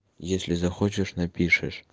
если захочешь напишешь